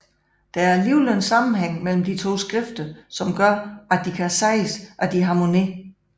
Der er alligevel en sammenhæng mellem de to skrifter som gør at de kan siges at harmonere